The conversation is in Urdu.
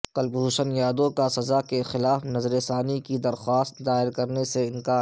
کلبھوشن جادھو کا سزا کے خلاف نظر ثانی کی درخواست دائر کرنے سے انکار